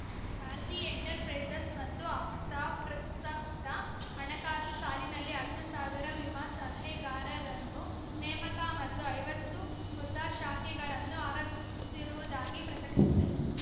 Bharti enterprises ಮತ್ತು AXA ಪ್ರಸಕ್ತ ಹಣಕಾಸು ಸಾಲಿನಲ್ಲಿ ಹತ್ತು ಸಾವಿರ ವಿಮಾ ಸಲಹೆಗಾರರನ್ನು ನೇಮಕ ಮತ್ತು ಐವತ್ತು ಹೊಸ ಶಾಖೆಗಳನ್ನು ಆರಂಭಿಸಿರುವುದಾಗಿ ಪ್ರಕಟಿಸಿದೆ